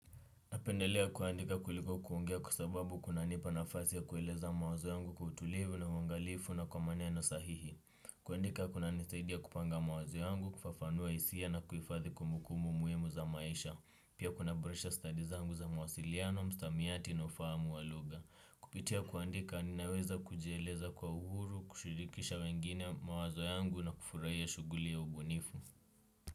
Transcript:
Napendelea kuandika kuliko kuongea kwa sababu kunanipa nafasi ya kueleza mawazo yangu kwa utulivu na uangalifu na kwa maneno sahihi. Kuandika kunanisaidia kupanga mawazo yangu, kufafanua hisia na kuhifadhi kumbukumbu muhimu za maisha. Pia kunaboresha stadi zangu za mawasiliano, msamiati na ufahamu wa lugha. Kupitia kuandika ninaweza kujieleza kwa uhuru, kushirikisha wengine mawazo yangu na kufurahia shughuli ya ubunifu.